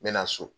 N bɛ na so